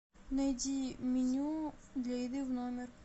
найди меню для еды в номер